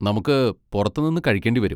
നമുക്ക് പുറത്ത് നിന്ന് കഴിക്കേണ്ടി വരും.